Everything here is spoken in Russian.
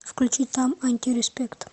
включи там антиреспект